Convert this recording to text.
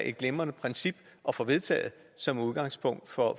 et glimrende princip at få vedtaget som udgangspunkt for